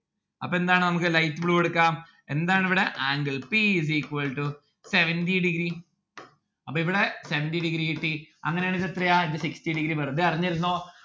അപ്പൊ എന്താണ് നമ്മുക്ക് light blue എടുക്കാം എന്താണ് ഇവിടെ? angle p is equal to seventy degree അപ്പൊ ഇവിടെ seventy degree കിട്ടി. അങ്ങനെയാണെങ്കിൽ എത്രയാ ഇത് sixty degree വെറുതെ അറിഞ്ഞിരുന്നോ